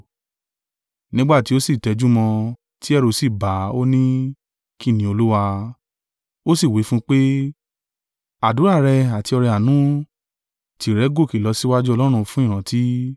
Nígbà tí ó sì tẹjúmọ́ ọn, ti ẹ̀rù sì bà á, ó ní, “Kín ni, Olúwa?” Ó sì wí fún un pé, “Àdúrà rẹ àti ọrẹ-àánú, tìrẹ gòkè lọ síwájú Ọlọ́run fún ìrántí.